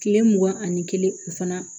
Kile mugan ani kelen o fana